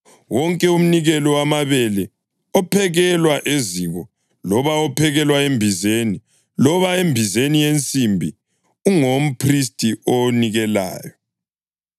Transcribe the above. Wonke umnikelo wamabele ophekelwa eziko, loba ophekelwa embizeni, loba embizeni yensimbi ungowomphristi owunikelayo,